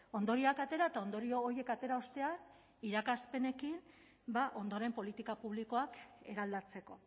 ondorioak atera eta ondorio horiek atera ostean irakaspenekin ondoren politika publikoak eraldatzeko